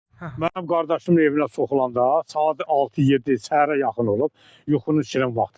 Mənim qardaşımın evinə soxulanda, saat 6-7 səhərə yaxın olub, yuxunun içinin vaxtında.